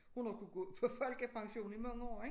Hun har jo kunne gå på folkepension i mange år ik